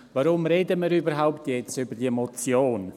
Warum reden wir jetzt überhaupt über diese Motion?